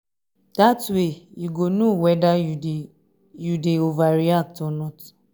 dat way yu go no weda yu dey yu dey overreact or not